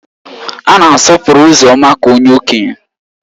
A na-asọpụrụ Uzoma ka onye Okenye